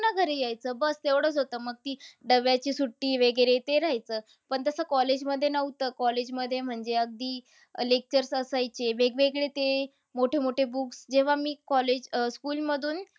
घरी येयचं. बस एवढंच होतं. मग ती डब्याची सुट्टी वगैरे ते रहायचं. पण तसं college मध्ये नव्हतं. College मध्ये म्हणजे अगदी अह lectures असायचे. वेगवेगळे ते मोठे-मोठे books जेव्हा मी college अह school मधून